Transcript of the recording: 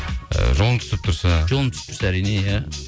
ы жолың түсіп тұрса жолым түсіп тұрса әрине иә